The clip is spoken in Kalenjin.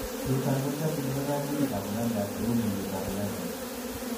Chuton kotiokingei koimutikab urachas cheu mulwetab urachal.